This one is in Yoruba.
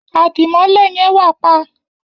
Adimọlẹ yen wà pa.